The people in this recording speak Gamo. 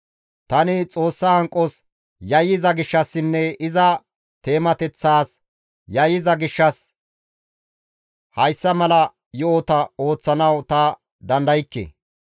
Tani Xoossa hanqos yayyiza gishshassinne iza teemateththaas yayyiza gishshas Hayssa mala yo7ota ooththanawu ta dandaykke.